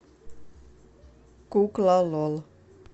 кукла лол